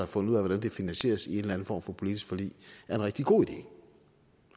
fundet ud af hvordan det finansieres i en eller en form for politisk forlig er en rigtig god idé